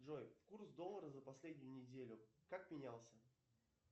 джой курс доллара за последнюю неделю как менялся